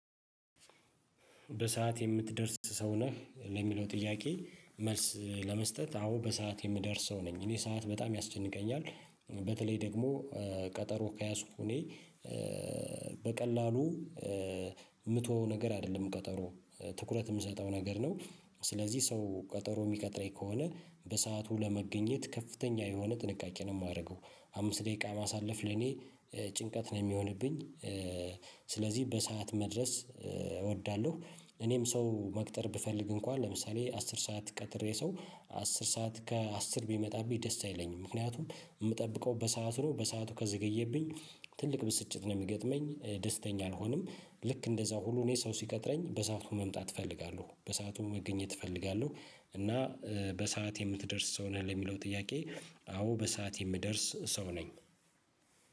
በሰአት የምትደርስ ሰው ነህ? ለሚለው ጥያቄ መልስ ለመስጠት አዎ በሰአት የምደርስ ሰው ነኝ እኔ ሰዓት በጣም ያስጨንቀኛል። በተለይ ደግሞ ቀጠሮ ከያዝኩ እኔ በቀላሉ የምተወው ነገር አይደለም። ቀጠሮ ትኩረት የምሰጠው ነገር ነው። ስለዚህ ሰው ቀጠሮ የሚቀጥረኝ ከሆነ በሰአቱ ለመገኘት ከፍተኛ የሆነ ጥንቃቄ ነው የማደርገው። አምስት ደቂቃ ማሳለፍ ለኔ ጭንቀት ነው የሚሆንብኝ። ስለዚህ በሰአት መድረስ እወዳለሁ። እኔም ሰው መቅጠር ብፈልግ እንኳን ለምሳሌ አስር ሰዓት ቀጥሬ ሰው አስር ሰዓት ከአስር ቢመጣብኝ ደስ አይለኝም። ምክንያቱም የምጠብቀው በሰአት ነው በሰአቱ ከዘገየብኝ ትልቅ ብስጭት ነው የሚገጥመኝ። ደስተኛ አልሆንም። ልክ እንደዛው ሁሉ እኔ ሰው ሲቀጥረኝ በሰአቱ መምጣት እፈልጋለሁ በሰአቱ መገኘት እፈልጋለሁ። እና በሰአት የምትደርስ ሰው ነህ ለሚለው ጥያቄ? አዎ በሰአት የምደርስ ሰው ነኝ